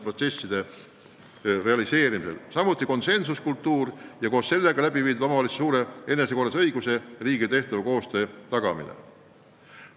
Samuti on tähtsad konsensuskultuur ja omavalitsuste enesekorralduse õiguse ja riigiga tehtava koostöö tagamine.